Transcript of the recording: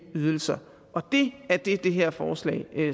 ydelser og det er det som det her forslag